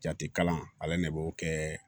Jate kalan ale de b'o kɛ